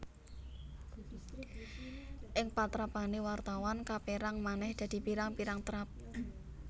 Ing patrapané wartawan kapérang manèh dadi pirang pirang trap